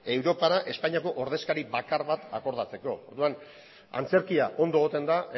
europara espainiako ordezkari bakar bat akordatzeko orduan antzerkia ondo egoten da